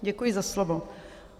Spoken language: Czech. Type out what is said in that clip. Děkuji za slovo.